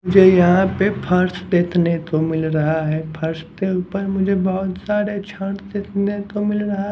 मुझे यहाँ पे फर्श देखने को मिल रहा है फर्श के ऊपर मुझे बहुत सारे छांट देखने को मिल रहा --